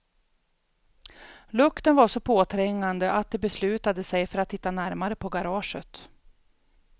Lukten var så påträngande att de beslutade sig för att titta närmare på garaget.